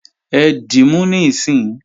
Ẹ dímú níìsín!